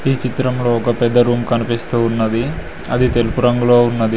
ఈ చిత్రంలో ఒక పెద్ద రూం కనిపిస్తూ ఉన్నది అది తెలుపు రంగులో ఉన్నది.